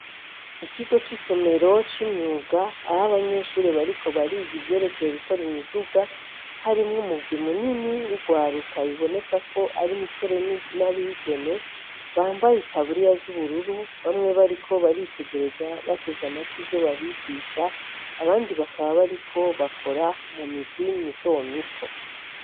Ikigo c'isomero, c'imyuga aho abanyeshure bariko bariga ivyerekeye gukora imiduga harimwo umugwi munini w'urwaruka biboneka ko ari imisore n'abigeme bambaye itaburiya z'ubururu bamwe bariko baritegereza bateze amatwi ivyo babigisha abandi bakaba bariko bakora mumigwi mitomito.